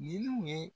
Ninnu ye